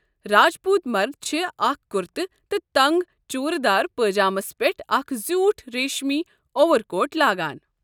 راج پوٗت مرد چھِ اکھ کرتہٕ تہٕ تنگ چوُرِدار پٲجامس پیٹھ اکھ زیٛوٗٹھ ریٖشمی اوَر کوٹھ لاگان۔